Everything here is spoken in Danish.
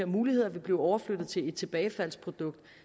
muligheder vil blive overført til et tilbagefaldsprodukt